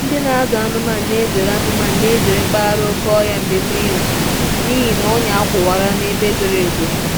Ndị na-azụ anụmanụ na-ezere anụmanụ na-ezere mpaghara oke ọhịa mgbe mmiri zochara n'ihi ọnyà a kwawara ebe zoro ezo.